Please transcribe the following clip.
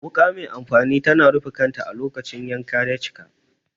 Wuka mai amfani tana rufe kanta a lokacin da yanka ya cika.